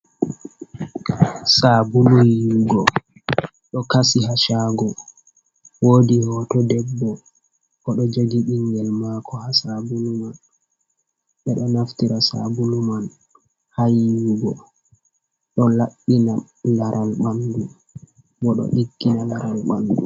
Sabulu yiwugo ɗo kasi ha shago. Wodi hoto debbo oɗo jogi ɓingel mako ha sabulu man. Ɓeɗo naftira sabulu man ha yiwugo. Ɗo laɓɓina laral ɓandu bo ɗo diggina laral bandu.